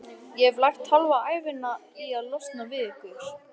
Ég hef lagt hálfa ævina í að losna við ykkur.